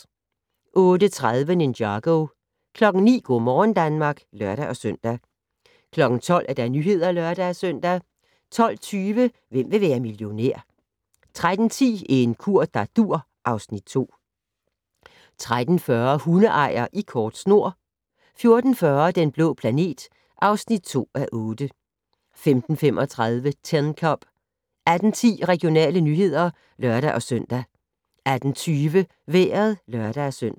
08:30: Ninjago 09:00: Go' morgen Danmark (lør-søn) 12:00: Nyhederne (lør-søn) 12:20: Hvem vil være millionær? 13:10: En kur der dur (Afs. 2) 13:40: Hundeejer i kort snor 14:40: Den blå planet (2:8) 15:35: Tin Cup 18:10: Regionale nyheder (lør-søn) 18:20: Vejret (lør-søn)